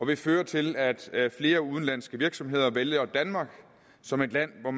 vil føre til at der er flere udenlandske virksomheder der vælger danmark som et land hvor